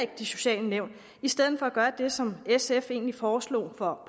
de sociale nævn i stedet for at gøre det som sf egentlig foreslog for